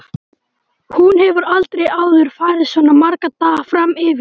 Hún hefur aldrei áður farið svona marga daga fram yfir.